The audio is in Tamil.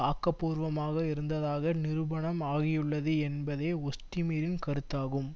ஆக்க பூர்வமாக இருந்ததாக நிரூபணம் ஆகியுள்ளது என்பதே ஒஸ்டிமிரின் கருத்தாகும்